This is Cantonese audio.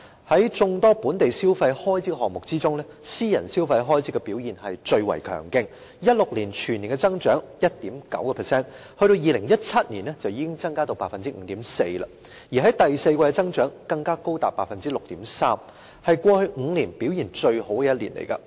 在眾多本地消費開支項目之中，私人消費開支的表現最為強勁 ，2016 年全年增長 1.9%， 到了2017年便已經增加至 5.4%， 而第四季的增長更高達 6.3%， 是過去5年表現最好的一年。